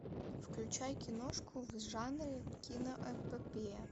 включай киношку в жанре киноэпопея